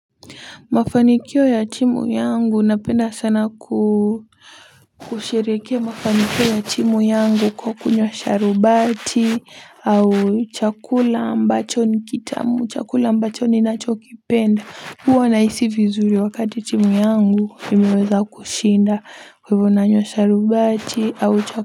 Mafanikio ya timu yangu napenda sana kushirehekea mafanikio ya timu yangu kwa kunywa sharubati au chakula mbacho nikitamu chakula mbacho ninacho kipenda huwa nahisi vizuri wakati timu yangu imeweza kushinda kwa hivyo nanywa sharubati au chakula.